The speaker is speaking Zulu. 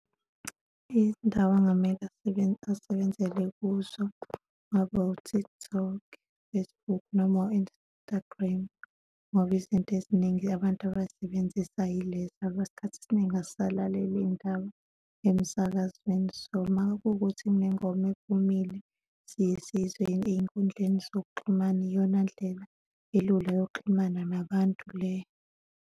Izindaba angamele asebenzele kuzo kungaba u-TikTok, Facebook noma u-Instagram. Ngoba izinto eziningi abantu abazisebenzisayo yilezo ngoba isikhathi esiningi asisalaleli iy'ndaba emsakazweni. So, uma kuwukuthi kunengoma ephumile, siyesiyizwe ey'nkundleni zokuxhumana, iyona ndlela elula yokuxhumana nabantu le.